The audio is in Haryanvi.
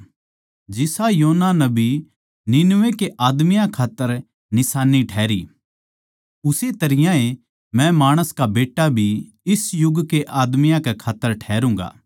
जिसा योना नबी निनवे के आदमियाँ खात्तर निशान्नी ठहरी उस्से तरियां मै माणस का बेट्टा भी इस युग के आदमियाँ कै खात्तर ठहरूँगा